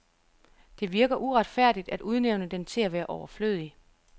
Det virker uretfærdigt at udnævne den til at være overflødig.